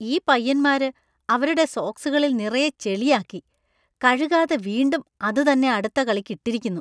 ഈ പയ്യന്മാര് അവരുടെ സോക്സുകളിൽ നിറയെ ചെളി ആക്കി, കഴുകാതെ വീണ്ടും അത് തന്നെ അടുത്ത കളിക്ക് ഇട്ടിരിക്കുന്നു .